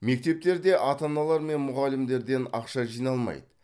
мектептерде ата аналар мен мұғалімдерден ақша жиналмайды